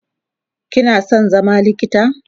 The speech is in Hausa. kina San zama likita?